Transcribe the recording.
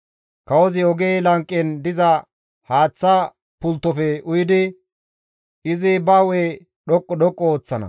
Kawozi oge lanqen diza haaththa pulttofe uyidi, izi ba hu7e dhoqqu dhoqqu histtana.